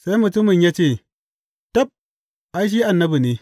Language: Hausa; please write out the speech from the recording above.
Sai mutumin ya ce, Tab, ai, shi annabi ne.